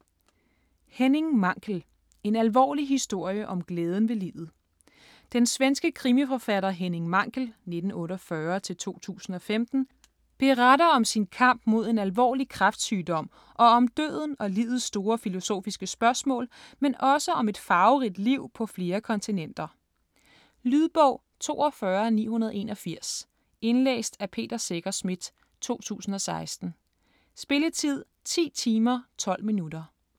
Mankell, Henning: En alvorlig historie om glæden ved livet Den svenske krimiforfatter Henning Mankell (1948-2015) beretter om sin kamp mod en alvorlig kræftsygdom og om døden og livets store filosofiske spørgsmål, men også om et farverigt liv på flere kontinenter. Lydbog 42981 Indlæst af Peter Secher Schmidt, 2016. Spilletid: 10 timer, 12 minutter.